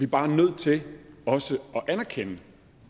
bare nødt til også at erkende